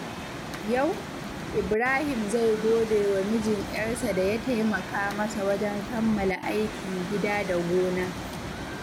Yau, Ibrahim zai gode wa mijin ƴarsa da ya taimaka masa wajen kammala aikin gida da gona.